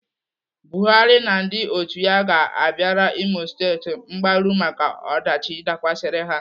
Buhari na ndị otu ya ga-abịara Imo State mgbaru maka ọdachi dakwasịrị ha.